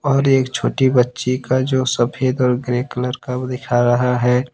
और एक छोटी बच्ची का जो सफेद और ग्रे कलर का वो दिखा रहा है।